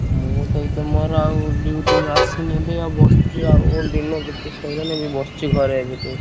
ମୁଁ ତ ଏଇତ ମୋର ଆଉ duty ଆସିଲି ଏବେ ଆଉ ବସଚି ଆଉ dinner କରିତେ ସଇଲାଣି ବସଚି ଘରେ ଏବେ ଟିକେ।